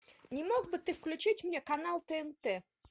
не мог бы ты включить мне канал тнт